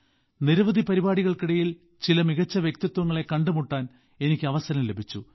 നിരവധി പരിപാടികൾക്കിടയിൽ ചില മികച്ച വ്യക്തിത്വങ്ങലെ കണ്ടുമുട്ടാൻ എനിക്ക് അവസരം ലഭിച്ചു